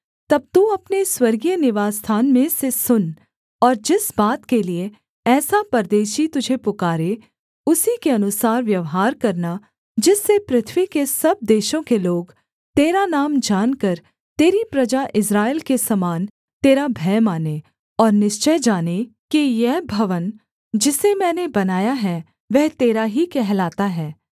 तब तू अपने स्वर्गीय निवासस्थान में से सुन और जिस बात के लिये ऐसा परदेशी तुझे पुकारे उसी के अनुसार व्यवहार करना जिससे पृथ्वी के सब देशों के लोग तेरा नाम जानकर तेरी प्रजा इस्राएल के समान तेरा भय मानें और निश्चय जानें कि यह भवन जिसे मैंने बनाया है वह तेरा ही कहलाता है